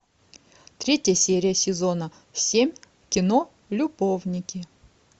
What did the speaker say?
третья серия сезона семь кино любовники